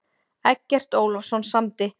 Eggert Ólafsson samdi.